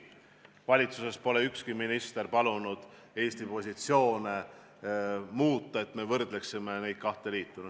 Valitsuses pole ükski minister palunud muuta Eesti positsioone, et me võrdleksime neid kahte liitu.